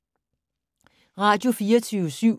Radio24syv